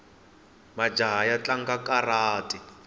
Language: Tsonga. majaha ya tlanga karati